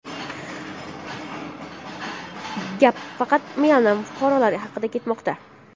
Gap faqat Myanma fuqarolari haqida ketmoqda.